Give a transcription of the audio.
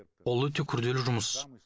ол өте күрделі жұмыс